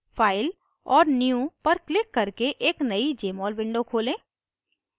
file और new पर click करके एक नयी jmol window खोलें